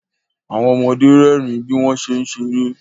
Àwọn ọmọde rẹ́rìn bí wọ́n ṣé ń ṣeré